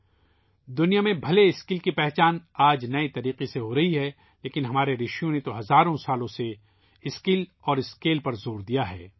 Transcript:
اگرچہ آج دنیا میں ہنر کو ایک نئے طریقے سے تسلیم کیا جا رہا ہے ، لیکن ہمارے رشیوں نے ہزاروں سالوں سے مہارت اور پیمانے پر زور دیا ہے